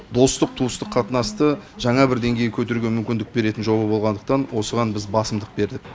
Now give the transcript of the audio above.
достық туыстық қатынасты жаңа бір деңгейге көтеруге мүмкіндік беретін жоба болғандықтан осыған біз басымдық бердік